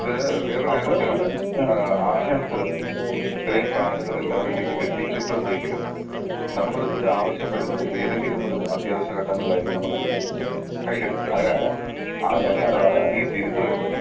ഇത് വേറൊരു കാര്യം എന്ന് വെച്ചാൽ ഏഹ് ആളുകൾക്ക് ഇത്രയും കാർഡുകൾ എല്ലാവർക്കും എത്തിച്ചിട്ടുണ്ടെങ്കിലും നമ്മൾ ഇതിന്റെ ആവശ്യം വരുന്നത് ഏതെങ്കിലും ഒരു അത്യാവശ്യ ഘട്ടങ്ങളിലായിരിക്കും നമ്മളിത് കയ്യില് എടുക്ക അല്ലെ? ആ സമയത്താണ് ഈ തിരുത്ത് വരുന്നത്